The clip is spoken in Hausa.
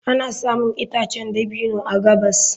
Ana samun itacen dabino a gabas.